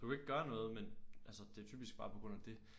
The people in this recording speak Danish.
Du kan ikke gøre noget men altså det er typisk bare på grund af dét